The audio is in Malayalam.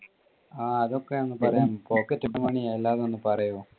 ആ അതൊക്കെ ഒന്ന് പറയാമോ pocket money അതൊക്കെ ഒന്ന് പറയോ.